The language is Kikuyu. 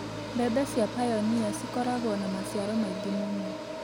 Mbembe cia pioneer ci koragwo na maciaro maingĩ mũno.